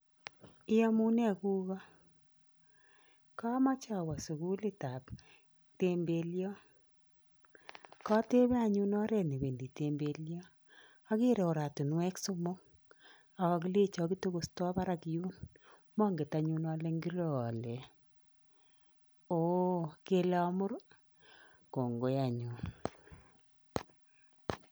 Iamunee kugo, kamache awo sukulitab tembelio, katebe anyuun oret newendi tembelio, ageere oratinwek somok ak kakilecho kitokostoi barak yuun, monget anyun ale ngiro oret, ooh kele amuur, kongoi anyuun.